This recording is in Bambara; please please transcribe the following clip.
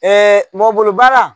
mɔgɔ bolo baara